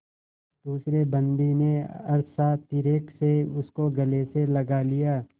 दूसरे बंदी ने हर्षातिरेक से उसको गले से लगा लिया